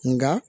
Nka